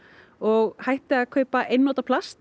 og hætti að kaupa einnota plast